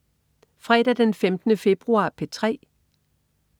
Fredag den 15. februar - P3: